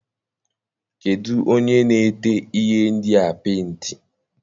Kedụ onye na-ete ihe ndịa penti?